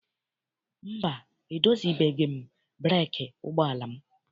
Mba, edozibeghị m breekị ụgbọala m.